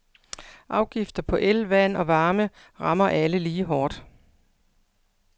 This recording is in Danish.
Afgifter på el, vand og varme ramme alle lige hårdt.